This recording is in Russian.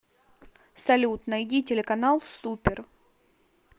салют найди телеканал супер